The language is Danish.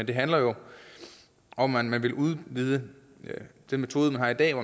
det handler jo om at man vil udvide den metode der er i dag